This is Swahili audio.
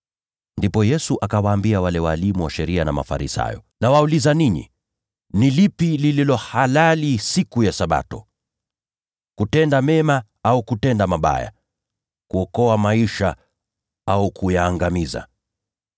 Ndipo Yesu akawaambia wale walimu wa sheria na Mafarisayo, “Nawauliza ninyi, ni lipi lililo halali siku ya Sabato? Ni kutenda mema au kutenda mabaya? Ni kuokoa maisha au kuyaangamiza?”